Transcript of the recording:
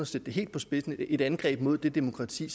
sætte det helt på spidsen som et angreb mod det demokrati